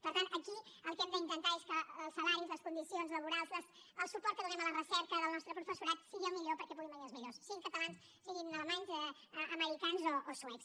per tant aquí el que hem d’intentar és que els salaris les condicions laborals el suport que donem a la recerca del nostre professorat siguin els millors perquè puguin venir els millors siguin catalans siguin alemanys americans o suecs